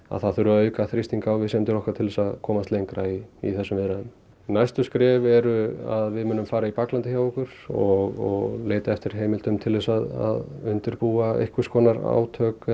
að það þurfi að auka þrýsting á viðsemjendur okkar til að komast lengra í í þessum viðræðum næstu skref eru að við munum fara í baklandið hjá okkur og leita eftir heimildum til að undirbúa einhvers konar átök